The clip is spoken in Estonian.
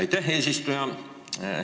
Aitäh, eesistuja!